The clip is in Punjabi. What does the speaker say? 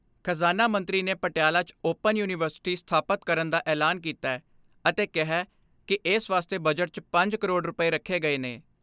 ਖਜ਼ਾਨਾ ਮੰਤਰੀ ਨੇ ਪਟਿਆਲਾ 'ਚ ਓਪਨ ਯੂਨੀਵਰਸਿਟੀ ਸਥਾਪਤ ਕਰਨ ਦਾ ਐਲਾਨ ਕੀਤੇ ਅਤੇ ਕਿਹੈ ਕਿ ਏਸ ਵਾਸਤੇ ਬਜਟ 'ਚ ਪੰਜ ਕਰੋੜ ਰੁਪਏ ਰੱਖੇ ਗਏ ਨੇ।